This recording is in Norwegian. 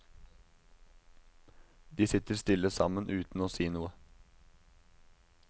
De sitter stille sammen uten å si noe.